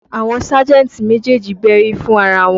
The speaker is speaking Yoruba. Àwọn sájẹ̀ntì méjèèjì bẹ́rí fún ara wọn